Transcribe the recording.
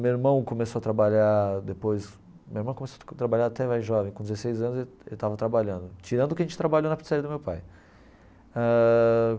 Meu irmão começou a trabalhar depois meu irmão começou a trabalhar até jovem, com dezesseis anos ele ele estava trabalhando, tirando que a gente trabalhou na pizzaria do meu pai ãh.